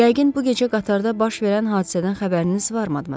Yəqin bu gecə qatarda baş verən hadisədən xəbəriniz var, Madmazel.